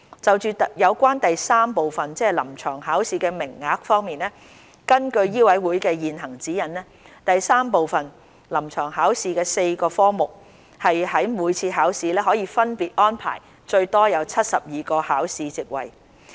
就有關第三部分：臨床考試的名額方面，根據醫委會的現行指引，第三部分：臨床考試的4個科目於每次考試可分別安排最多72個考試席位。